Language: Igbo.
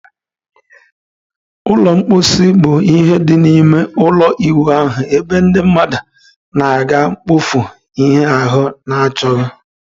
Ụlọ mposi bụ ihe dị n'ime ụlọ ịwụ ahụ ebe ndị mmadụ na-aga mkpofu ihe ahu achoghi.